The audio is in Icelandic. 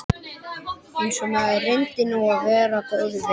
Einsog maður reyndi nú að vera góður við hana.